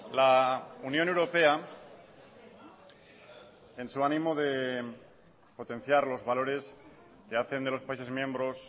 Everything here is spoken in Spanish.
la unión europea en su ánimo de potenciar los valores que hacen de los países miembros